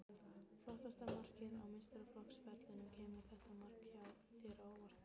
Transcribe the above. Flottasta markið á meistaraflokksferlinum Kemur þetta mark þér á óvart?